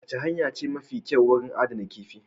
Wacce hanyar ce mafi kyau wurin adana kifi?